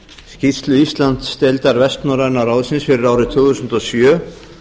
skýrslu íslandsdeildar vestnorræna ráðsins fyrir árið tvö þúsund og sjö